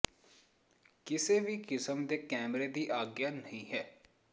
ਕਿਸੇ ਵੀ ਕਿਸਮ ਦੇ ਕੈਮਰੇ ਦੀ ਆਗਿਆ ਨਹੀਂ ਹੈ